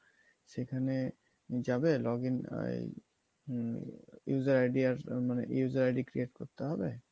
সেখানে যাবে login ah এই হম user ID আর মানে user ID create করতে হবে।